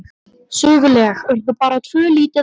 Söguleg urðu bara tvö lítil atvik.